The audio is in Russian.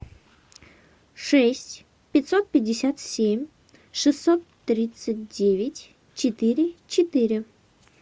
шесть пятьсот пятьдесят семь шестьсот тридцать девять четыре четыре